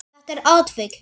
Þetta er atvik.